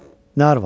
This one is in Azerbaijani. Nə arvad?